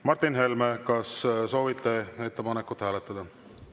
Martin Helme, kas soovite ettepanekut hääletada?